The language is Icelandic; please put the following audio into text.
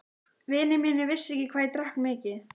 Vinir mínir vissu ekki hvað ég drakk mikið.